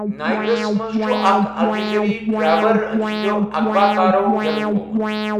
نائیگرس منٛز چھُ اکھ الجیرِیٲیی ڈرائیور أمہِ سٕنٛدیو عغوا كارو یلہٕ ترومٗت ۔